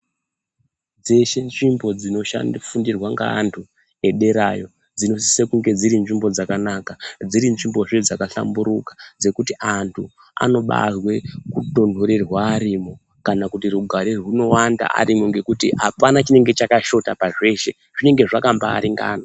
Dzeshe nzvimbo dzinofundirwe ngeantu ederayo dzinosise kunge dziri nzvimbo dzakanaka, dziri nzvimbozve dzakahlamburuka dzekuti antu anobaazwe kutonhorerwa arimo kana kuti rugare rwunowanda arimo ngekuti apana chinenge chakashota pazveshe zvinenge zvakambaaringana.